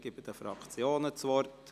Ich erteile den Fraktionen das Wort.